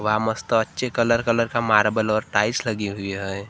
व्वा मस्त अच्छे कलर कलर का मार्बल और टाइल्स लगी हुई है।